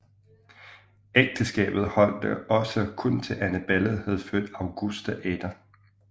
Ægteskabet holdt da også kun til Annabella havde født Augusta Ada